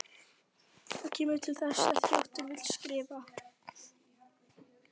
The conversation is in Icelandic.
Hvað kemur til að þessi þrjótur vill skrifta?